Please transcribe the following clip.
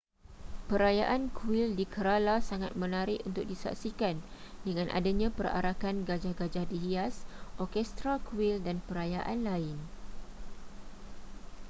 perayaan kuil di kerala sangat menarik untuk disaksikan dengan adanya perarakan gajah-gajah dihias orkestra kuil dan perayaan lain